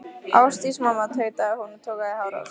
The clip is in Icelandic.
Ásdís mamma, tautaði hún og togaði í hárið á sér.